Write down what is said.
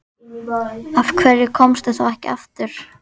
Af hverju komstu þá ekki aftur?